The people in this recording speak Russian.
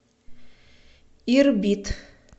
ирбит